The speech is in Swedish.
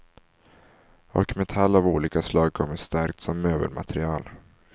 Och metall av olika slag kommer starkt som möbelmaterial.